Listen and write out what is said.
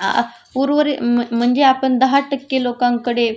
अ आ उर्वरित म्हणजे आपण दहा टक्के लोकांकडे